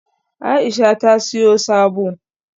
Aisha ta siyo sabo